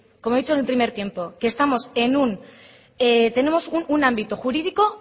como he dicho en el primer tiempo que estamos en un tenemos un ámbito jurídico